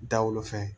Da wolo fɛn